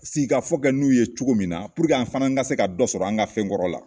Sigi ka fɔ kɛ n'u ye cogo min na, an fana ka se ka dɔ sɔrɔ, an ga fɛn kɔrɔ la.